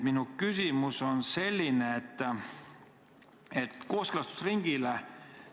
Minu küsimus on kooskõlastusringi kohta.